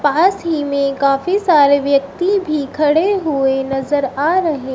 पास ही में काफी सारे व्यक्ति भी खड़े हुए नजर आ रहे--